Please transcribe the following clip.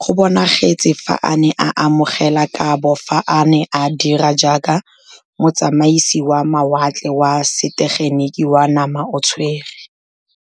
go bonagetse fa a ne a amogela kabo fa a ne a dira jaaka motsamaisi wa mawatle wa setegeniki wa namaotshwe re.